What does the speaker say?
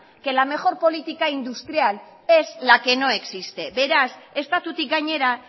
que la mejor política industrial es la que no existe beraz estatutik gainera